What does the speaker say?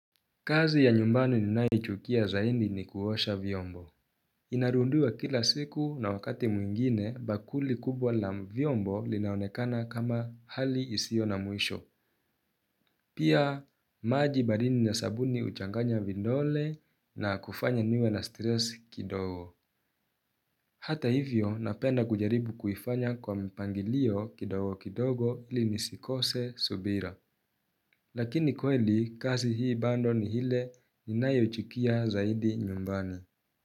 Kazi ya nyumbani ninayochukia zaindi ni kuosha vyombo. Inarundiwa kila siku na wakati mwingine bakuli kubwa la vyombo linaonekana kama hali isio na mwisho. Pia maji baridi ya sabuni uchanganya vindole na kufanya niwe na stress kidogo. Hata hivyo napenda kujaribu kuifanya kwa mpangilio kidogo kidogo ili nisikose subira. Lakini kweli kazi hii bando ni ile inayochukia zaidi nyumbani.